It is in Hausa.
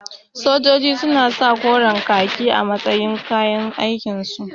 Sojoji suna sa koren ƙaki a matsayin kayan aikin su